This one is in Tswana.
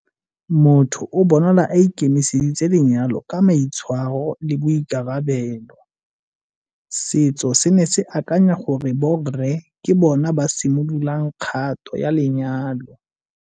Motho o bonala a ikemiseditse lenyalo ka maitshwaro le boikarabelo. Setso se ne se akanya gore borre ke bona ba simololang kgato ya lenyalo.